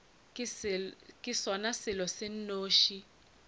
ke sona selo se nnoši